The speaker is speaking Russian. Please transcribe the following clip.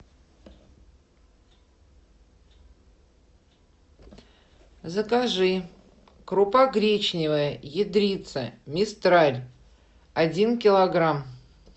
закажи крупа гречневая ядрица мистраль один килограмм